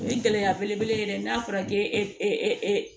O ye gɛlɛya belebele ye dɛ n'a fɔra k'e